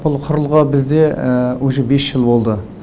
бұл құрылғы бізде уже бес жыл болды